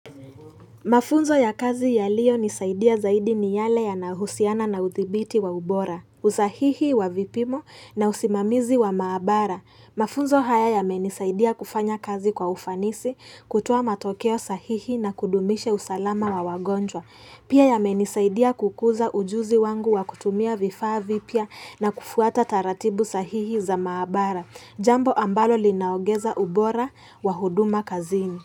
Mafunzo ya kazi yaliyonisaidia zaidi ni yale yanahusiana na uthibiti wa ubora, usahihi wa vipimo na usimamizi wa maabara. Mafunzo haya yamenisaidia kufanya kazi kwa ufanisi, kutuoa matokeo sahihi na kudumisha usalama wa wagonjwa. Pia yamenisaidia kukuza ujuzi wangu wa kutumia vifaa vipya na kufuata taratibu sahihi za maabara, jambo ambalo linaogeza ubora wa huduma kazini.